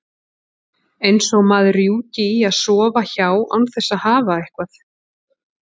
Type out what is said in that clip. Eins og maður rjúki í að sofa hjá án þess að hafa eitthvað.